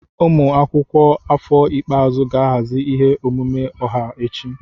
Ụmụ akwụkwọ afọ ikpeazụ ga-ahazi ihe ọmụma ọha echi.